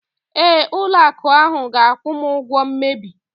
Ee, ụlọ akụ ahu ga-akwụ m ụgwọ mmebi.